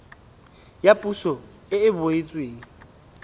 ya poso e e beetsweng